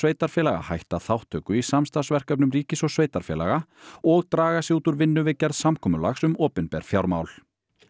sveitarfélaga hætta þátttöku í samstarfsverkefnum ríkis og sveitarfélaga og draga sig út úr vinnu við gerð samkomulags um opinber fjármál